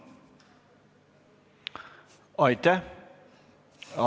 Aitäh!